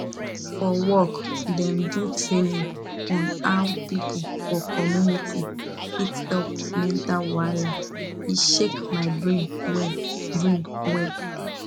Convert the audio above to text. for work dem do training on how people for community fit help mental wahala e shake my brain well brain well